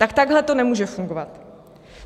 - Tak takhle to nemůže fungovat.